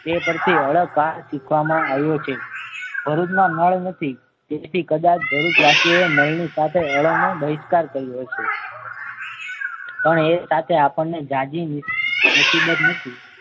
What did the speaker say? એ પરથી ળ કા શીખવામાં આવ્યું છે ભરૂચમાં નળ નથી તેથી કદાચ ભરૂચ વાસીઓએ નળ ની સાથે ળ નો બહિષ્કાર કર્યો હશે. પણ એ સાથે આપણને જાજી મુસીબત મૂકી